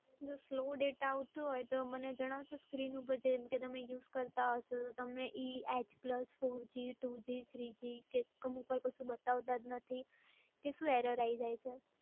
slow data આવતું હોય તો મને જણાવશો screen ઉપર જેમ કે તમે use કરતાં હશો, તો તમને e, h plus, four g, three g, two g કે અમુક વાર પછી બતાવતા જ નથી, કે પછી શું error આઈ જાય છે?